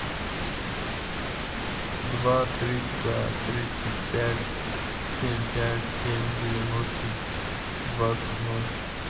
два триста тридцать пять семь пять семь девяносто двадцать ноль